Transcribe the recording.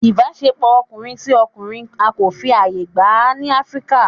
ìbáṣepọ ọmọkunrin si ọmọkunrin á ko fí ayẹ gba ni Afirika